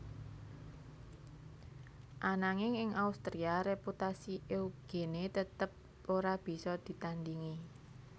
Ananging ing Austria reputasi Eugene tetep ora bisa ditandingi